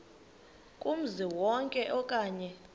kumzi wonke okanye